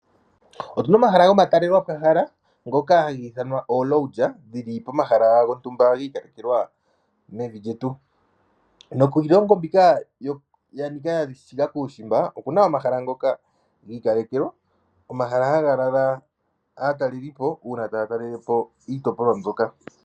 Otu na omahala gomatalelwa po hala ngoka hagi ithanwa ooLodge dhili pomahala gontumba gi ikalekelwa mevi lyetu. Nokiilongo mbika ya nika ya shiga kuushimba oku na omahala ngoka gi ikalekelwa, omahala haga lala aataleli po uuna taya talele po iitopolwa mbyoka.